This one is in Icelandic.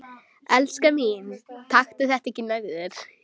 Elskan mín, taktu þetta ekki nærri þér.